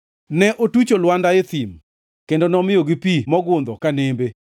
Ne otucho lwanda e thim kendo nomiyogi pi mogundho ka nembe;